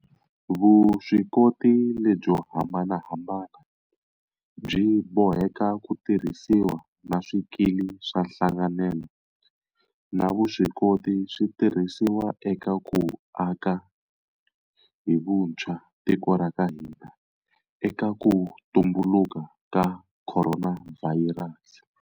Vuswikoti lebyo hambanahambana byi boheka ku tirhisiwa, na swikili swa nhlanganelo na vuswikoti swi tirhisiwa eka ku aka hi vuntshwa tiko ra ka hina eka ku tumbuluka ka khoronavhayirasi.